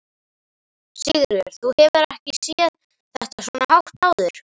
Sigríður: Þú hefur ekki séð þetta svona hátt áður?